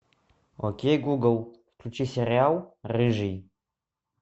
окей гугл включи сериал рыжий